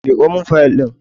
Miƙo mun fayil ɗin!